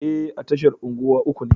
E, a tashar unguwa uku ne.